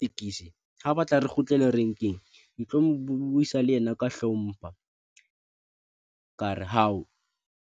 Tekisi ha o batla re kgutlele renkeng ke tlo mo buisa le yena, ka hlompha kare hao